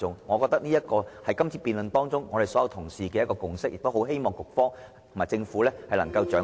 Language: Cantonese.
我認為，這一點是在今次辯論中，我們所有議員的共識，希望局方及政府能夠掌握......